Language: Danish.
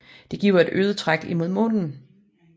Det giver et øget træk imod månen